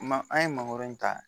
Ma an ye mangoro ta